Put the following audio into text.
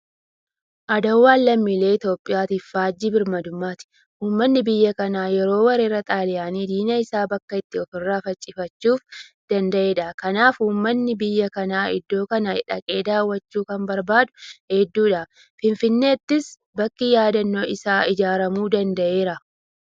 Aduwaan lammiilee Itoophiyaatiif faajjii birmadummaati. Uummanni biyya kanaa yeroo weerara xaaliyaanii diina isaa bakka itti ofirraa faccifachuu danda'edha. Kanaaf uummanni biyya kanaa iddoo kana dhaqee daawwachuu kan barbaadu hedduudha. Finfinneettis bakki yaadannoo isaa ijaaramuu danda'eera.